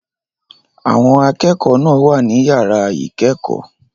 Àwọn akẹ́kọ̀ọ́ náà wà ní yàrá ìkẹ́kọ̀ọ́.